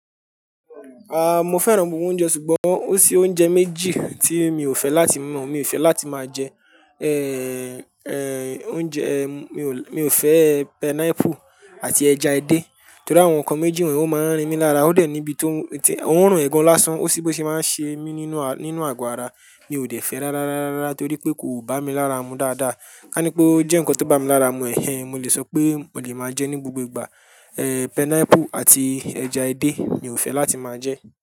Ah, mo fẹ́ràn gbogbo oúnjẹ ṣùgbọ́n ó sí oúnjẹ méjì tí mi ò fẹ́ láti mọ̀, mi ò fẹ́ láti máa jẹ. Eh, eh, oúnjẹ, eh, mi ò, mi ò fẹ́ pineapple àti ẹja edé torí àwọn nǹkan méjì wọ̀nyí ó máa ń rin mi lára. Ó dẹ̀ níbi tó, ti, wọ́n ń ràn ẹgun lásán, ó sí bí ó ṣe máa ń ṣe mí nínú, nínú àgọ́ ara. Mi ò dẹ̀ fẹ́ rárárárárára torí pé kò bá mi lára mu dáadáa. Ká ní pé ó jẹ́ nǹkan tó bá mi lára mu ẹ̀hẹ̀n, mo lè sọ pé mo lè máa jẹ ní gbogbo ìgbà. Eh, pineapple àti ẹja edé mi ò fẹ́ láti máa jẹ.